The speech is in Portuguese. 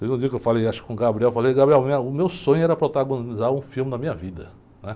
Teve um dia que eu falei, acho que com o, falei, minha, o meu sonho era protagonizar um filme da minha vida, né?